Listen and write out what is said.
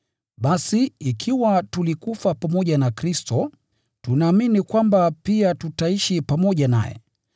Basi ikiwa tulikufa pamoja na Kristo, tunaamini kwamba pia tutaishi pamoja naye.